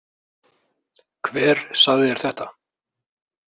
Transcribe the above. Hver sagði þér þetta?